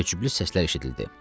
Təəccüblü səslər eşidildi.